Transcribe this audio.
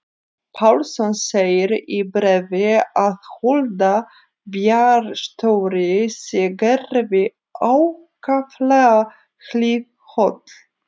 Pálsson segir í bréfi að Hulda bæjarstjóri sé Gerði ákaflega hliðholl.